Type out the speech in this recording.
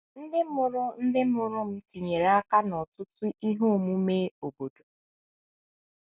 Ndị mụrụ Ndị mụrụ m tinyere aka n’ọtụtụ ihe omume obodo.